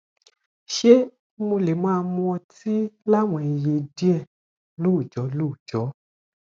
ṣé mo lè máa mu ọtí láwọn iye díẹ lóòjó lóòjó